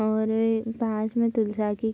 और गाछ में तुलसा की --